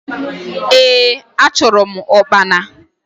Ee! Achụrụ m ụkpana.